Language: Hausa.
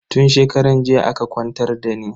Tun shekaran jiya aka kwantar dani.